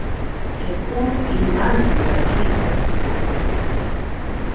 Er komin í laglega klípu.